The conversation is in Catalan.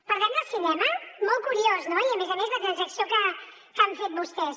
parlem del cinema molt curiós no i a més a més la transacció que han fet vostès